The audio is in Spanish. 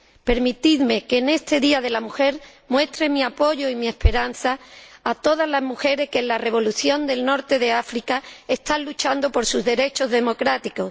Permitidme que, en este Día Internacional de la Mujer, muestre mi apoyo y mi esperanza a todas las mujeres que en la revolución del norte de África están luchando por sus derechos democráticos.